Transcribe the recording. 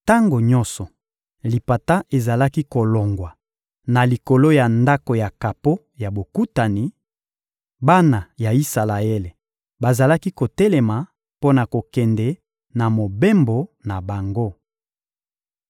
Tango nyonso lipata ezalaki kolongwa na likolo ya Ndako ya kapo ya Bokutani, bana ya Isalaele bazalaki kotelema mpo na kokende na mobembo na bango.